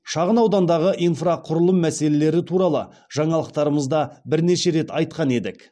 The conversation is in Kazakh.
шағын аудандағы инфрақұрылым мәселелері туралы жаңалықтарымызда бірнеше рет айтқан едік